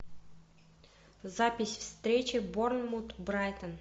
запись встречи борнмут брайтон